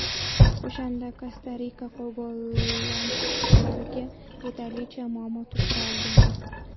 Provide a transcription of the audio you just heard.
O‘shanda Kosta-Rika gollandlarga yetarlicha muammo tug‘dira olgandi.